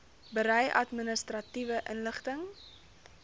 berei administratiewe inligting